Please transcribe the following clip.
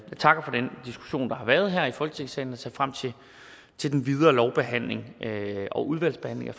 har været her i folketingssalen og ser frem til til den videre lovbehandling og udvalgsbehandling